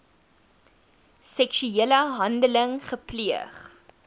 seksuele handeling gepleeg